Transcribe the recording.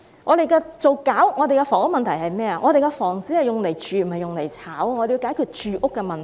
我們處理房屋問題時，應注意房子是用來住而不是用來炒賣的，我們要解決住屋的問題。